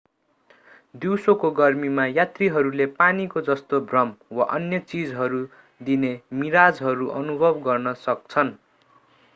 दिउँसोको गर्मीमा यात्रीहरूले पानीको जस्तो भ्रम वा अन्य चीजहरू दिने मिराजहरू अनुभव गर्न सक्छन्।